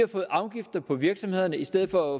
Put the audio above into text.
afgifter på virksomhederne i stedet for